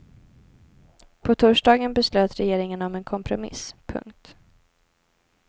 På torsdagen beslöt regeringen om en kompromiss. punkt